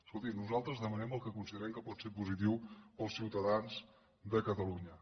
escolti nosaltres demanem el que considerem que pot ser positiu per als ciutadans de catalunya